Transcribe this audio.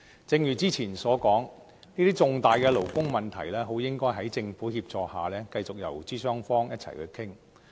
正如之前所說，這些重大勞工問題應該在政府協助下繼續由勞資雙方一起討論。